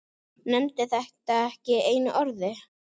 Nefndi þetta ekki einu orði.